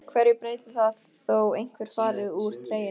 Hverju breytir það þó einhver fari úr treyjunni?